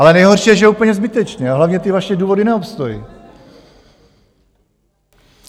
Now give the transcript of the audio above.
Ale nejhorší je, že úplně zbytečně, a hlavně ty vaše důvody neobstojí!